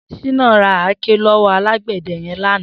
Shina rà àáké lọwọ àlágbẹ̀dẹ̀ yẹ̀n làná